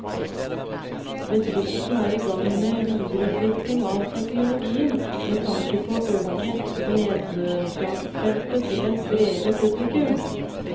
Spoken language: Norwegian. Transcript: Bedriften er i gang med videreutvikling av teknologien med tanke på å øke nedslagsfeltet til et bredere publikum.